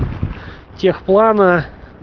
техплана